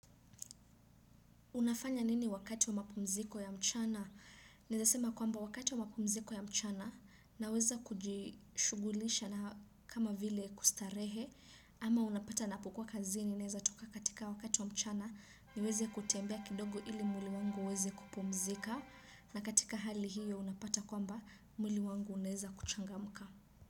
Unafanya nini wakati wa mapumziko ya mchana? Naweza sema kwamba wakati wa mapumziko ya mchana naweza kujishughulisha na kama vile kustarehe ama unapata napokuwa kazini naweza toka katika wakati wa mchana niweze kutembea kidogo ili mwili wangu uweze kupumzika na katika hali hiyo unapata kwamba mwili wangu unaweza kuchangamka.